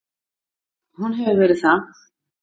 Hún hefur verið það.